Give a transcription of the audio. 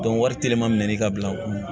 wari teliman min ka bila o kun